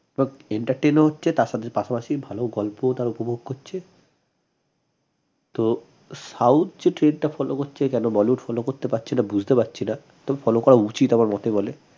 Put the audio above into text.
entertain ও হচ্ছে তার সাথে পাশাপাশি ভাল গল্প তারা উপভোগ করছে তো south যে trend টা follow করছে কেন bollywood follow করতে পারছেনা বুঝতে পারছি না তবে follow করা উচিত আমার মতে বলে